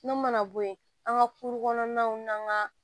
N'o mana bɔ yen an ka kuru kɔnɔnaw n'an ga